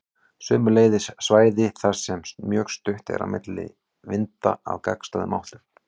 Sömuleiðis svæði þar sem mjög stutt er á milli vinda af gagnstæðum áttum.